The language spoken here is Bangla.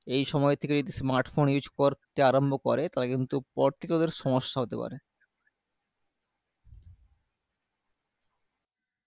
এই সময় থেকে যদি smart phone use করতে আরম্ভ করে তাহলে কিন্তু পরবর্তীকালে ওদের সমস্যা হতে পারে